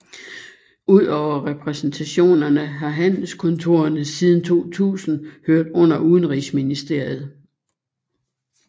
Udover repræsentationerne har handelskontorerne siden 2000 hørt under Udenrigsministeriet